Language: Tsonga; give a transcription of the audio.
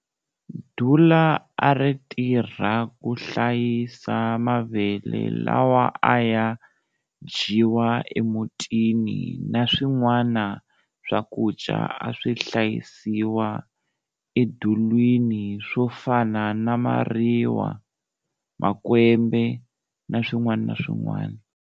Dula a ri tirha ku hlayisa mavele lawa a ya dyiwa emutini na swin'wana swakudya a swi hlayisiwa edulwini swo fana na mariwa, makwembe na swin'wana.